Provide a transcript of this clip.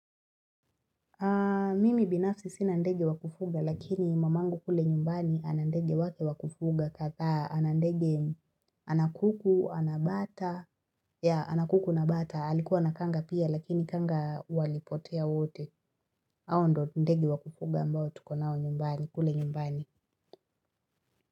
Mimi binafsi sina ndege wakufuga lakini mamangu kule nyumbani anandege wake wakufuga kadhaa anandege ana kuku, ana bata, ya ana kuku, na bata, alikuwa na kanga pia lakini kanga walipotea wote, hao ndio ndege wakufuga ambao tuko nao nyumbani kule nyumbani.